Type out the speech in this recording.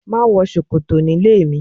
Má wọ ṣòkòtò nílé mi